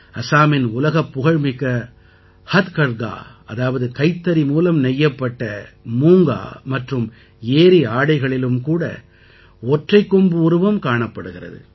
அசாமின் உலகப்புகழ்மிக்க ஹத்கர்கா அதாவது கைத்தறி மூலம் நெய்யப்பட்ட மூங்கா மற்றும் ஏரி ஆடைகளிலும் கூட ஒற்றைக் கொம்பு உருவம் காணப்படுகிறது